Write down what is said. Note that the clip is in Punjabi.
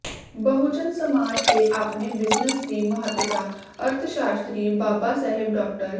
ਬਹੁਜਨ ਸਮਾਜ ਦੇ ਆਪਣੇ ਬਿਜ਼ਨੈੱਸ ਦੀ ਮਹੱਤਤਾ ਅਰਥਸ਼ਾਸਤਰੀ ਬਾਬਾ ਸਾਹਿਬ ਡਾ